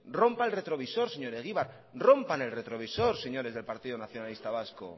rompa el retrovisor señor egibar rompan el retrovisor señores del partido nacionalista vasco